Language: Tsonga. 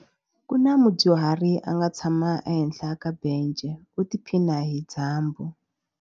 Ku na mudyuhari a nga tshama ehenhla ka bence u tiphina hi dyambu.